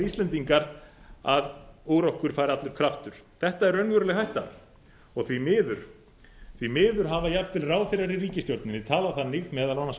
íslendingar að úr okkur fari allur kraftur þetta er raunveruleg hætta og því miður hafa jafnvel ráðherrar í ríkisstjórninni talað þannig meðal annars á